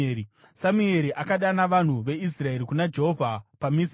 Samueri akadana vanhu veIsraeri kuna Jehovha paMizipa